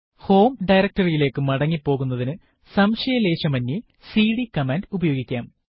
home directory യിലേക്ക് മടങ്ങി പോകുന്നതിനു സംശയലേശമന്യേ സിഡി കമാൻഡ് ഉപയോഗിക്കാം